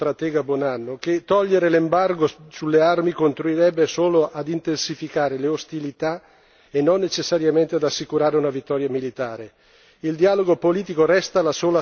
Vorrei ricordare anche al novello stratega Buonanno che togliere l'embargo sulle armi contribuirebbe solo a intensificare le ostilità e non necessariamente ad assicurare una vittoria militare.